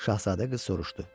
Şahzadə qız soruşdu.